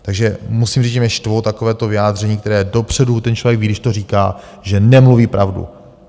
Takže musím říct, že mě štvou takováto vyjádření, která dopředu - ten člověk ví, když to říká, že nemluví pravdu.